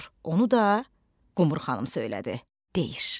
Onu da Qumru xanım söylədi deyir.